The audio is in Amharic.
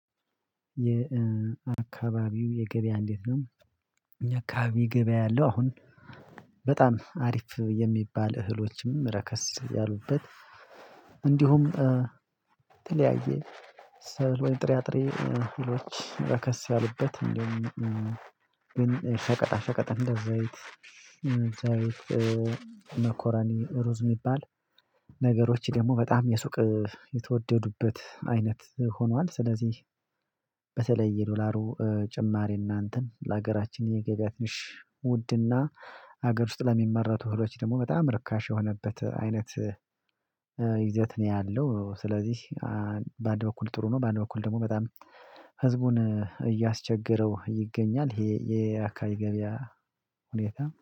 የአካባቢው የገበያ እንዴት ነው? አኛ አከባቢ ገበያ ያለው አሁን በጣም አሪፍ የሚባል እህሎችም ረከስ ያሉበት እንዲሁም ተለያየ ሰብል ወይም ጥራጥሬ አህሎች ረከስ ያሉበት እንዲውም ግን ሸቀጣ ሸቀጥ እንደ ዘይት ዘይት መኮሮኒ ሩዝ የሚባል ነገሮች ደግሞ በጣም የሱቅ የተወደዱበት አይነት ሆኗል ስለዚህ በተለየ ዶላሩ ጭማሪና እንትን ለሀገራችን የገበያ ሽ ውድና ሀገር ውስጥ ለሚመረቱ እህሎች ደግሞ በጣም ርካሽ የሆነበት አይነት ይዘት ነው ያለው ስለዚህ በአንድ በኩል ጥሩ ነው በአንድ በኩል ደግሞ በጣም ህዝቡን እያስቸገረው ይገኛል ይሄ የአካባቢ ገበያ ሁኔታ